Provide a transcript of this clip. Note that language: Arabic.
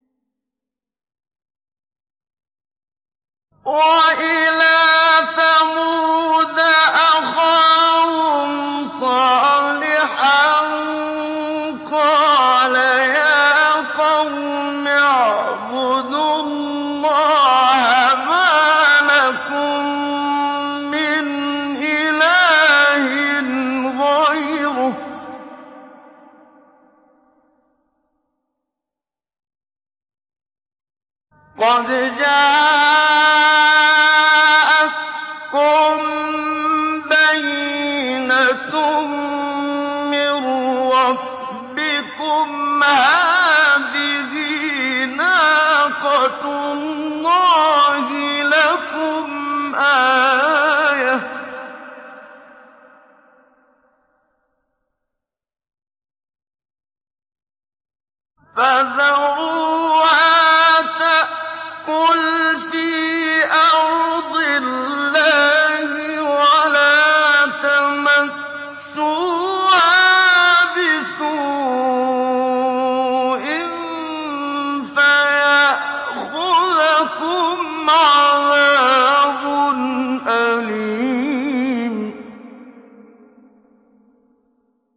وَإِلَىٰ ثَمُودَ أَخَاهُمْ صَالِحًا ۗ قَالَ يَا قَوْمِ اعْبُدُوا اللَّهَ مَا لَكُم مِّنْ إِلَٰهٍ غَيْرُهُ ۖ قَدْ جَاءَتْكُم بَيِّنَةٌ مِّن رَّبِّكُمْ ۖ هَٰذِهِ نَاقَةُ اللَّهِ لَكُمْ آيَةً ۖ فَذَرُوهَا تَأْكُلْ فِي أَرْضِ اللَّهِ ۖ وَلَا تَمَسُّوهَا بِسُوءٍ فَيَأْخُذَكُمْ عَذَابٌ أَلِيمٌ